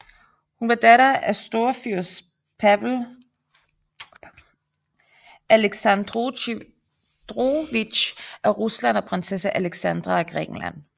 Hun var datter af storfyrst Pavel Aleksandrovitj af Rusland og prinsesse Alexandra af Grækenland